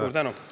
Suur tänu!